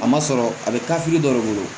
A ma sɔrɔ a bɛ taa fili dɔ de bolo